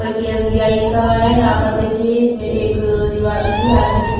पर की S B I लिखा हुआ हैं यहाँ पर देखिए इसमे एक रिवाली की हार्दिक सुभ--